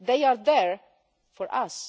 They are there for